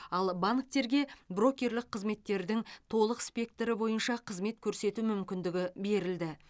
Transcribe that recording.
ал банктерге брокерлік қызметтердің толық спектрі бойынша қызмет көрсету мүмкіндігі берілді